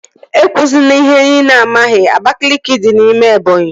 E kwụzina ihe ị na-amaghị! Abakaliki dị n'ime Ebọnyi